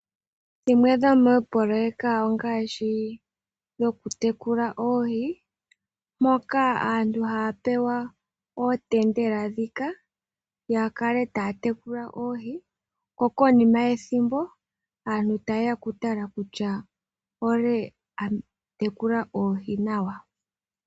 Dhimwe dhomoopoloyeka ongaashi: aantu okutekula oohi ,moka aantu haya pewa ootendela ya kale taya tekula oohi ko konima yethimbo aantu taye ya okutala kutya olye a tekula oohi nawa.